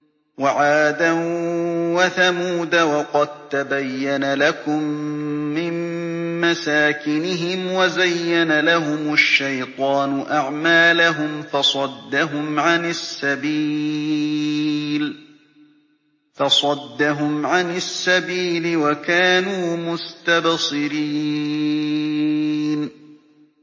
وَعَادًا وَثَمُودَ وَقَد تَّبَيَّنَ لَكُم مِّن مَّسَاكِنِهِمْ ۖ وَزَيَّنَ لَهُمُ الشَّيْطَانُ أَعْمَالَهُمْ فَصَدَّهُمْ عَنِ السَّبِيلِ وَكَانُوا مُسْتَبْصِرِينَ